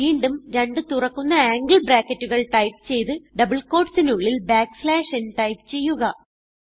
വീണ്ടും രണ്ട് തുറക്കുന്ന ആംഗിൾ ബ്രാക്കറ്റുകൾ ടൈപ്പ് ചെയ്ത് ഡബിൾ quotesനുള്ളിൽ ബാക്ക്സ്ലാഷ് n n ടൈപ്പ് ചെയ്യുക